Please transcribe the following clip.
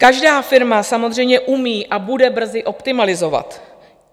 Každá firma samozřejmě umí a bude brzy optimalizovat.